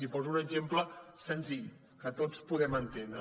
i en poso un exemple senzill que tots podem entendre